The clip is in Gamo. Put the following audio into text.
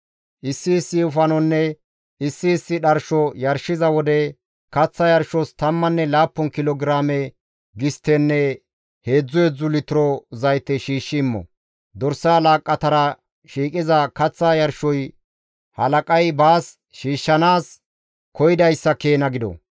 Issi issi wofanonne issi issi dharsho yarshiza wode, kaththa yarshos tammanne laappun kilo giraame gisttenne heedzdzu heedzdzu litiro zayte shiishshi immo. Dorsa laaqqatara shiiqiza kaththa yarshoy halaqay baas shiishshanaas koyidayssa keena gido.